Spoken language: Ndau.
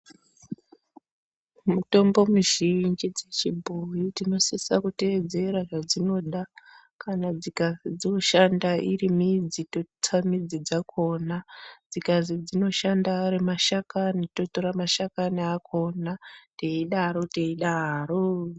Mutombo mizhinji dzechibhoyi tinosise kuteedzera zvadzinoda kana dzikazi dzoshanda iri midzi totsa midzi dzakhona dzikazi dzinoshanda ari mashakani totora mashakani akhona teidaro teidaroo.